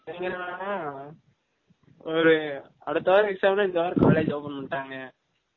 இவங்க என்ன டானா ஒரு அடுத்த வாரம் exam நா இந்த வாரம் college open பன்னிடாங்க